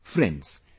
Friends,